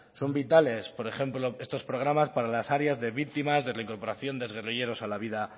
son vitales por ejemplo estos programas para las áreas de víctimas de reincorporación de guerrilleros a la vida